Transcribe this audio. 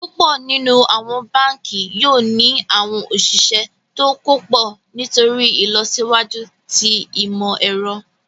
Púpọ̀ nínu awọn bánkì yoo ni awọn osìsẹ̀ tó kò pọ̀ nítorí ilọsiwaju tí imọ̀-ẹ̀rọ̀.